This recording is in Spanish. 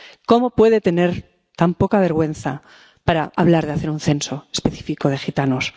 ¿Cómo puede tener tan poca vergüenza como para hablar de hacer un censo específico de gitanos?